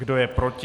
Kdo je proti?